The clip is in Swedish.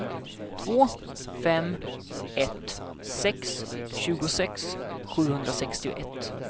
två fem ett sex tjugosex sjuhundrasextioett